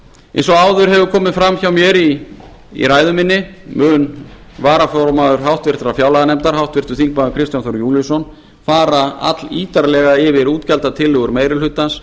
eins og áður hefur komið fram í ræðu minni mun varaformaður háttvirtrar fjárlaganefndar háttvirtir þingmenn kristján þór júlíusson fara allítarlega yfir útgjaldatillögur meiri hlutans